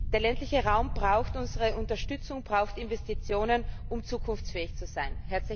Der ländliche Raum braucht unsere Unterstützung, braucht Investitionen, um zukunftsfähig zu sein!